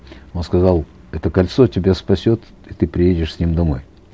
он сказал это кольцо тебя спасет и ты приедешь с ним домой